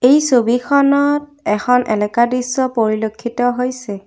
এই ছবিখনত এখন এলেকা দৃশ্য পৰিলক্ষিত হৈছে।